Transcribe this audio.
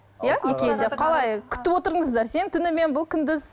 иә екі елде қалай күтіп отырдыңыздар сен түнімен бұл күндіз